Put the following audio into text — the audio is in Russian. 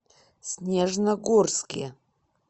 снежногорске